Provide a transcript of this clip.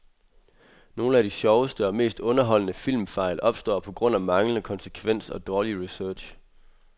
Nogle af de sjoveste og mest underholdende filmfejl opstår på grund af manglende konsekvens og dårlig research.